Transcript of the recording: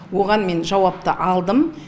оған мен жауапты алдым